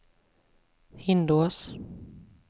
Hindås